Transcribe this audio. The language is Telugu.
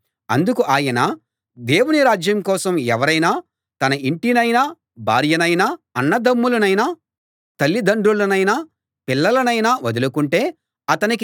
అందుకు ఆయన దేవుని రాజ్యం కోసం ఎవరైనా తన ఇంటినైనా భార్య నైనా అన్నదమ్ములనైనా తల్లిదండ్రులనైనా పిల్లలనైనా వదులుకుంటే అతనికి